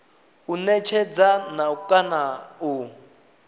u netshedza na kana u